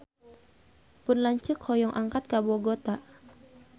Pun lanceuk hoyong angkat ka Bogota